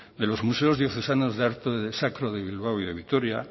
de los museos diocesanos de arte sacro de bilbao y de vitoria